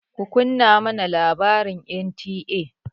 Kunna mana labaran NTA!